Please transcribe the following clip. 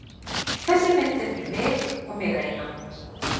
Þessi mynd er fyrir mig og mig eina.